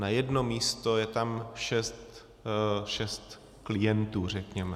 Na jedno místo je tam šest klientů, řekněme.